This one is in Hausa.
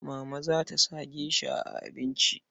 Mama za ta sa gesha a abinci.